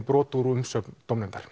brot úr umsögn dómnefndar